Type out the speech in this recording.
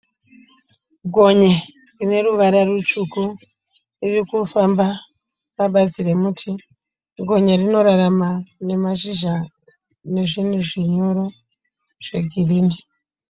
Gonye rineruvara rutsvuku ririkufamba pabazi remuti, gonye rinorrarama nemashizha nezvinhu zvinyoro zvegirini.